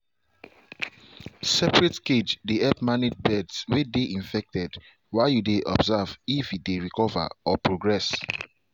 separate cage dey help manage birds way dey infected while you dey observe if e dey recover or progress